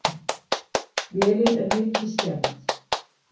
Vélin er mikið skemmd.